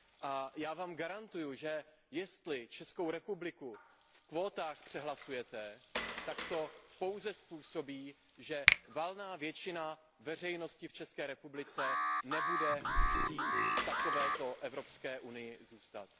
A já vám garantuji, že jestli Českou republiku v kvótách přehlasujete, tak to pouze způsobí, že valná většina veřejnosti v České republice nebude chtít v takovéto Evropské unii zůstat.